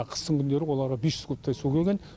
қыстың күндері оларға бес жүз кубтай су келген